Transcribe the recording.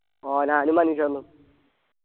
ആ ഞാനും മനീഷേട്ടനും